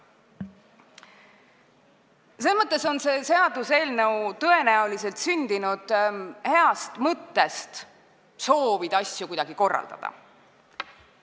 Selles mõttes on see seaduseelnõu tõenäoliselt sündinud heast mõttest, soovist asju kuidagi korraldada.